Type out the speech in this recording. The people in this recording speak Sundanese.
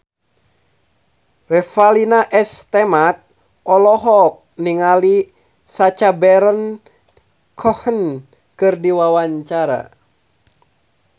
Revalina S. Temat olohok ningali Sacha Baron Cohen keur diwawancara